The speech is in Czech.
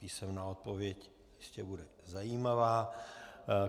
Písemná odpověď jistě bude zajímavá.